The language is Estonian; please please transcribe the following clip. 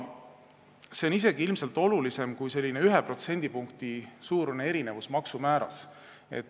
See on isegi ilmselt olulisem kui selline 1%-line erinevus maksumääras.